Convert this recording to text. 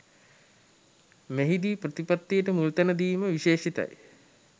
මෙහිදී ප්‍රතිපත්තියට මුල්තැන දීම විශේෂිතයි